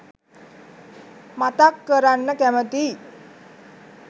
මතක් කරන්න කැමතියි.